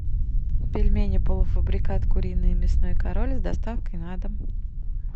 пельмени полуфабрикат куриные мясной король с доставкой на дом